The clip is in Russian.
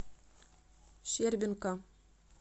щербинка